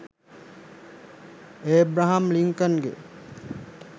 Abraham ලින්කන්ගෙ